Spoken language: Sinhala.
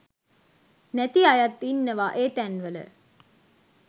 නැති අයත් ඉන්නවා ඒ තැන්වල